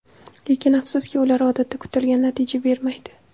Lekin afsuski, ular odatda kutilgan natija bermaydi.